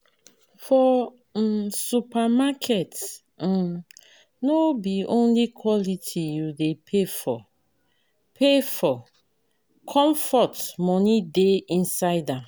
For um supermarket [um]no be only quality you dey pay for, pay for comfort moni dey inside am.